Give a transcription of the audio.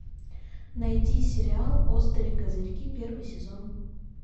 найди сериал острые козырьки первый сезон